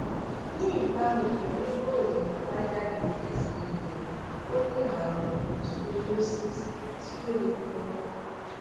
ní ìbámu pẹlú ìròyìn àbájáde xray rẹ ó ní àrùn scoliosis tí ó le ganan